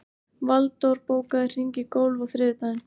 Valdór, bókaðu hring í golf á þriðjudaginn.